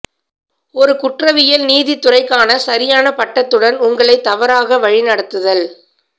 ஒரு குற்றவியல் நீதித் துறைக்கான சரியான பட்டத்துடன் உங்களைத் தவறாக வழிநடத்துதல்